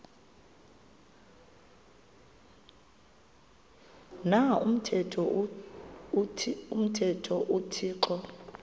na umthetho uthixo